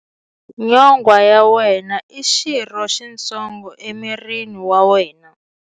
Nyonghwa ya wena i xirho xitsongo emirini wa wena.